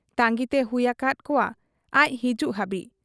ᱛᱟᱺᱜᱤᱛᱮ ᱦᱩᱭ ᱟᱠᱟᱦᱟᱫ ᱠᱚᱣᱟ ᱟᱡ ᱦᱤᱡᱩᱜ ᱦᱟᱹᱵᱤᱡ ᱾